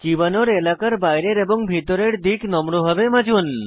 চিবানোর এলাকার বাইরের এবং ভেতরের দিক নম্রভাবে মাজুন